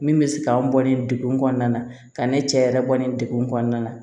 Min bɛ se k'an bɔ nin degun kɔnɔna na ka ne cɛ yɛrɛ bɔ nin degun kɔnɔna na